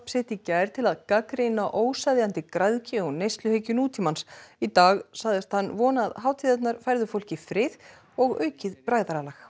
sitt í gær til að gagnrýna óseðjandi græðgi og neysluhyggju nútímans í dag sagðist hann vona að hátíðirnar færðu fólki frið og aukið bræðralag